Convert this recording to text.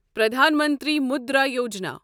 Pradhan Mantri Mudra Yojana